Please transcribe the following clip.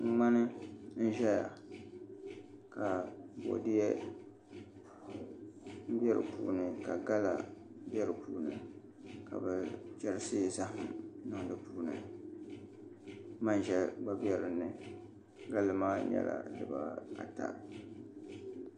ŋmani n ʒɛya ka boodiyɛ bɛ di puuni ka gala bɛ di puuni ka bi chɛrisi zaham n niŋ di puuni manʒa gba bɛ di puuni galli maa nyɛla dibaata